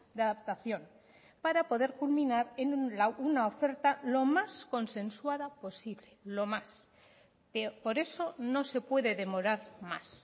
de adaptación para poder culminar en una oferta lo más consensuada posible lo más por eso no se puede demorar más